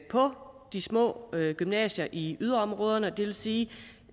på de små gymnasier i yderområderne og det vil sige